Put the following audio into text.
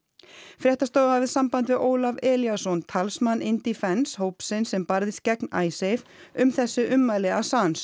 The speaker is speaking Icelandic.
fréttastofa hafði samband við Ólaf Elíasson talsmann Indefence hópsins sem barðist gegn IceSave um þessi ummæli